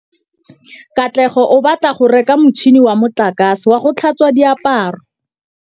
Katlego o batla go reka motšhine wa motlakase wa go tlhatswa diaparo.